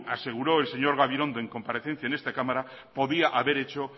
aseguró el señor gabilondo en comparecencia en esta cámara podía haber hecho